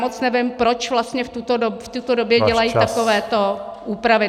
Moc nevím, proč vlastně v této době dělají takového úpravy.